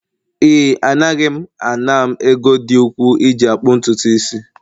Ee, Anaghị m ana m ego dị ukwu iji akpụ ntutu isi